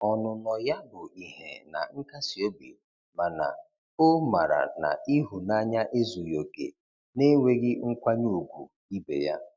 Ọnụnọ ya bụ ihe na nkasi obi mana o mara na ihunanya ezughi oke na-enweghi nkwanye ugwu ibe ya.